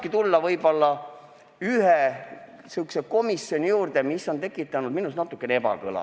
Ja nüüd ma tahangi tulla ühe komisjoni juurde, mis on tekitanud minus natukene ebakõla.